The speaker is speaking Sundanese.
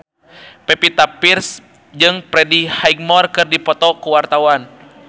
Pevita Pearce jeung Freddie Highmore keur dipoto ku wartawan